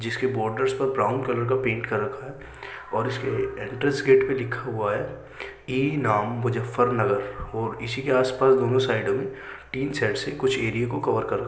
जिसके बॉर्डर्स पर brown colour का पेंट कर रखा है और इसके एंट्रेंस गेट पर लिखा हुआ है। ए नाम मुजफ्फरनगर और इसी के आस-पास दोनों साइडों में टीन शेड्स से कुछ एरिये को कवर कर र --